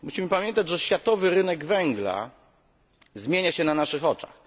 Musimy pamiętać, że światowy rynek węgla zmienia się na naszych oczach.